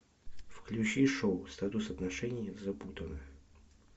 включи шоу статус отношений запутанно